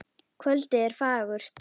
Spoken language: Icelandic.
Kvöldið er fagurt.